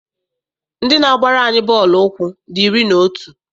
Ndị na-agbara anyị bọọlụ ụkwụ dị iri na otu.